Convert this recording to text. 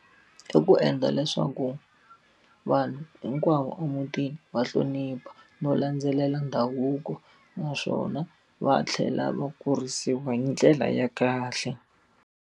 I ku endla leswaku vanhu hinkwavo emutini va hlonipha no landzelela ndhavuko naswona, va tlhela va kurisiwa hi ndlela ya kahle.